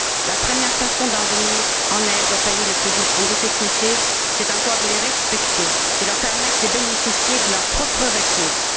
La première façon de venir en aide aux pays en grandes difficultés, c'est encore de les respecter, de leur permettre de bénéficier de leurs propres ressources.